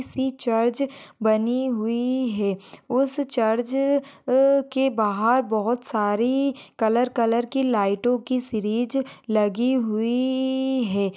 किसी चर्च बनी हुई है उस चर्च अह के बाहर बहुत सारी कलर कलर की लाइटो की सीरीज लगी हुई है।